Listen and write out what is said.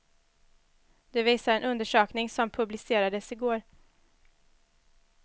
Det visar en undersökning som publicerades i går.